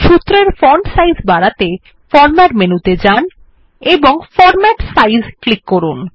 সূত্রের font size বাড়াতে format menu ত়ে যান এবং ফন্ট সাইজ ক্লিক করুন